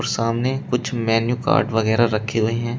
सामने कुछ menu card वगैरा रखे हुए हैं।